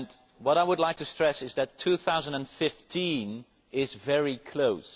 What I would like to stress is that 2015 is very close.